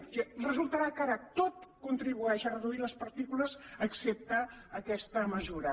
o sigui resultarà que ara tot contribueix a reduir les partícules excepte aquesta mesura